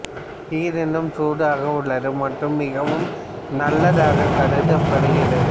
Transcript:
நீர் இன்னும் சூடாக உள்ளது மற்றும் மிகவும் நல்லதாக கருதப்படுகிறது